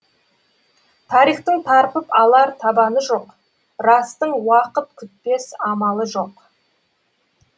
тарихтың тарпып алар табаны жоқ растың уақыт күтпес амалы жоқ